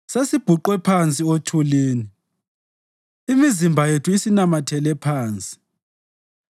Sesibhuqwe phansi othulini; imizimba yethu isinamathele phansi.